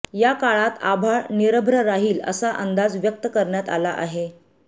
या काळात आभाळ निरभ्र राहील असा अंदाज व्यक्त करण्यात आला आहे